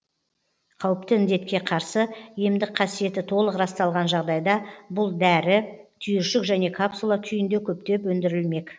қауіпті індетке қарсы емдік қасиеті толық расталған жағдайда бұл дәрі түйіршік және капсула күйінде көптеп өндірілмек